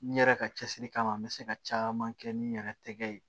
N yɛrɛ ka cɛsiri kama n bɛ se ka caman kɛ ni n yɛrɛ tɛgɛ ye